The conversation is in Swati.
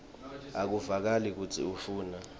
akuvakali kutsi ufuna